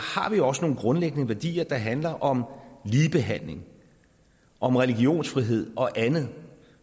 vi jo også nogle grundlæggende værdier der handler om ligebehandling om religionsfrihed og andet og